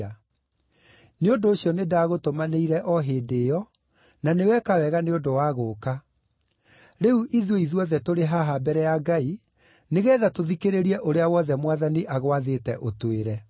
Nĩ ũndũ ũcio nĩndagũtũmanĩire o hĩndĩ ĩyo, na nĩ weka wega nĩ ũndũ wa gũũka. Rĩu ithuĩ ithuothe tũrĩ haha mbere ya Ngai nĩgeetha tũthikĩrĩrie ũrĩa wothe Mwathani agwathĩte ũtwĩre.”